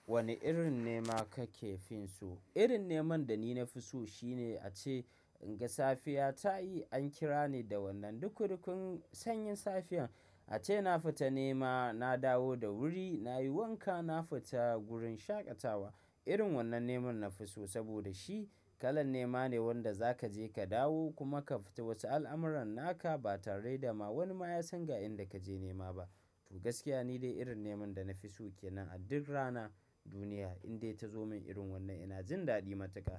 Wane irin nema ka ke fin so? Irin neman da ni na fi so shine ace in ga safiya ta yi an kira ni da wannan dukun dukun sanyin safiyar ace na fita nema na dawo da wuri na yi wanka na fita gurin shaƙatawa. Irin wannan neman na fi so saboda shi kalan nema ne wanda za ka je ka dawo kuma ka fita wasu al'amuran naka ba tare da ma wani ma ya san ga inda ka je nema ba. To gaskiya ni dai irin neman da na fi so kenan a duk rana duniya indai ta zo min irin wannan ina jin daɗi matuka.